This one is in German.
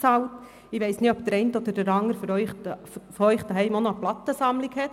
Ich weiss nicht, ob der eine oder andere von Ihnen auch noch eine Plattensammlung hat.